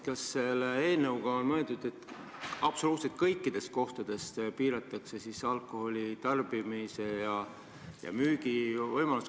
Kas selle eelnõuga on mõeldud, et absoluutselt kõikides kohtades piiratakse alkoholi tarbimise ja müümise võimalust?